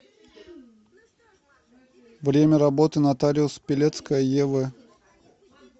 время работы нотариус пелецкая ев